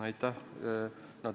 Aitäh!